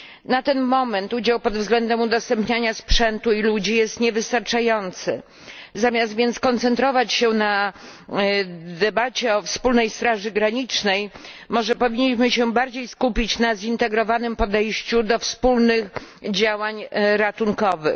Na ten moment udział pod względem udostępniania sprzętu i ludzi jest niewystarczający. Zamiast więc koncentrować się na debacie o wspólnej straży granicznej, może powinniśmy się bardziej skupić na zintegrowanym podejściu do wspólnych działań ratunkowych.